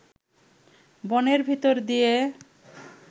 বনের ভিতর দিয়ে